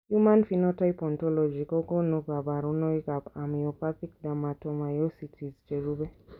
Human Phenotype Ontology kokonu kabarunoikab Amyopathic dermatomyositis cherube.